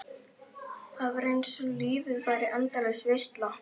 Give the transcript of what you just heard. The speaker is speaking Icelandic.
Það var eins og lífið væri endalaus veisla.